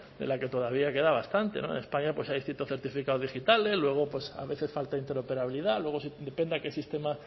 de la que todavía queda bastante en españa hay distintos certificados digitales luego pues a veces falta interoperabilidad luego depende a qué sistema